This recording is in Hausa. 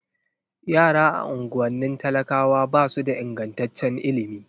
Yara a unguwannin talakawa ba su da ingantaccen ilimi